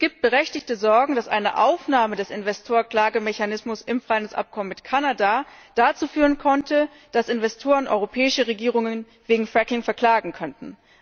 Es gibt berechtigte Sorgen, dass eine Aufnahme des Investorklagemechanismus in das Freihandelshandelsabkommen mit Kanada dazu führen könnte, dass Investoren europäische Regierungen wegen Fracking verklagen können.